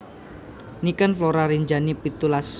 Niken Flora Rinjani pitulas